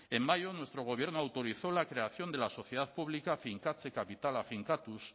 en mayo nuestro gobierno autorizó la creación de la sociedad pública finkatze kapitala finkatuz